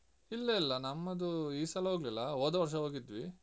ಇಲ್ಲ ಇಲ್ಲ ನಮ್ಮದು ಈ ಸಲ ಹೋಗ್ಲಿಲ್ಲ ಹೋದ ವರ್ಷ ಹೋಗಿದ್ವಿ.